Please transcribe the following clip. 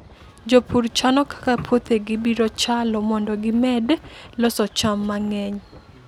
Jopur chano kaka puothegi biro chalo mondo gimed loso cham mang'eny.